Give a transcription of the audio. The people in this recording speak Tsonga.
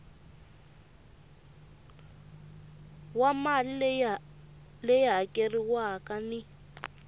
wa mali leyi hakeriwaka ni